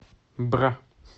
бра